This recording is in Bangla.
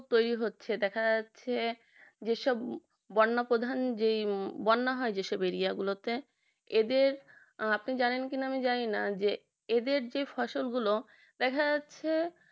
তৈরি হচ্ছে দেখা যাচ্ছে যেসব বন্যা প্রধান যেই বন্যা হয় যেসব area গুলো তে এদের আপনি জানেন কি না আমি জানিনা যে এদের যে ফসল গুলো দেখা যাচ্ছে